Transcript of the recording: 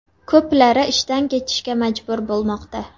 Ko‘plari ishdan ketishga majbur bo‘lmoqda.